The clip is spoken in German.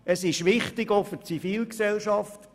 Das ist auch wichtig für die Zivilgesellschaft.